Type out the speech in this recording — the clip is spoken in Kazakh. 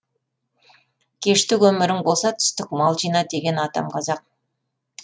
кештік өмірің болса түстік мал жина деген атам қазақ